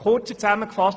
Kurz zusammengefasst: